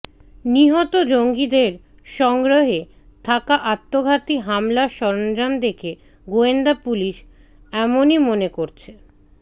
নিহত জঙ্গিদের সংগ্রহে থাকা আত্মঘাতী হামলার সরঞ্জাম দেখে গোয়েন্দা পুলিশ এমনই মনে করছে